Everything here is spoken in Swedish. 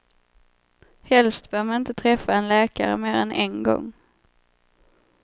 Helst bör man inte träffa en läkare mer än en gång.